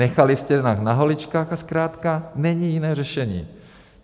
Nechali jste nás na holičkách a zkrátka není jiné řešení.